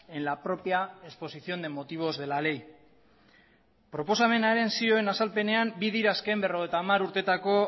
en la propia exposición de motivos de la ley proposamenaren zioen azalpenean bi dira azken berrogeita hamar urteetako